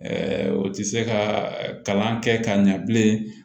o tɛ se ka kalan kɛ ka ɲɛ bilen